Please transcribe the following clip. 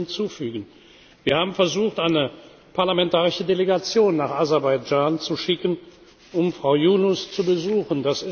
Ich will hier hinzufügen Wir haben versucht, eine parlamentarische Delegation nach Aserbaidschan zu schicken, um Frau Yunus zu besuchen.